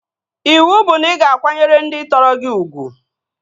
Iwu bụ na ị ga akwanyere ndị tọrọ gị ugwu!